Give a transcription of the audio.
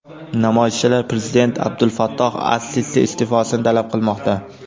Namoyishchilar prezident Abdulfattoh as-Sisi iste’fosini talab qilmoqda.